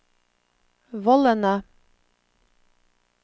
vollene